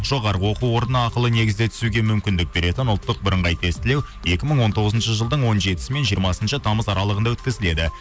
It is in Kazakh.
жоғарғы оқу орнына ақылы негізде түсуге мүмкіндік беретін ұлттық бірыңғай тестілеу екі мың он тоғызыншы жылдың он жетісі мен жиырмасыншы тамыз аралығында өткізіледі